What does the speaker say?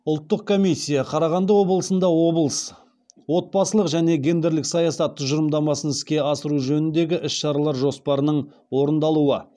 ұлттық комиссия қарағанды облысында отбасылық және гендерлік саясат тұжырымдамасын іске асыру жөніндегі іс шаралар жоспарының орындалуы